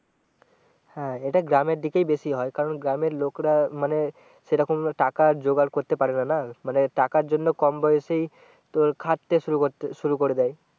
হ্যাঁ এটা গ্রামের দিকেই বেশি হয় কারণ গ্রামের লোকেরা মানে সেরকম টাকা জোগার করতে পারে না না মানে টাকার জন্য কম বয়সেই তোর খাটতে শুরু করে দেয়